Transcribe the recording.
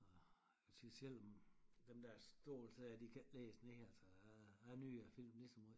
Og selvom dem der store sæder de kan æ lægges ned så a a nyder filmen lige så møj